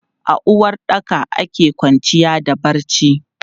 A uwaɗɗaka ake kwanciya da barci.